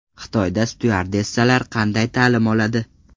Xitoyda styuardessalar qanday ta’lim oladi?